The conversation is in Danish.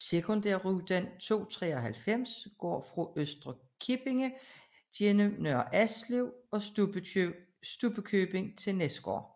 Sekundærrute 293 går fra Øster Kippinge gennem Nørre Alslev og Stubbekøbing til Næsgård